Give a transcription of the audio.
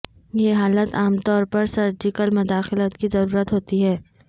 یہ حالت عام طور پر سرجیکل مداخلت کی ضرورت ہوتی ہے